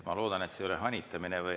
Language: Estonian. Ma loodan, et see ei ole hanitamine.